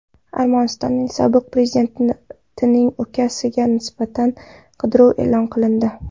Armanistonning sobiq prezidentining ukasiga nisbatan qidiruv e’lon qilindi.